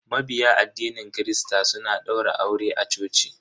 Mabiya addinin christa suna daura aure a coci.